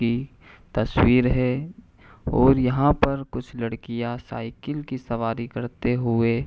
की तस्वीर है और यहां पर कुछ लड़कियां साइकिल की सवारी करते हुए --